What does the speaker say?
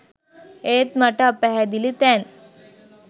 ඒත් මට අපැහැදිලි තැන්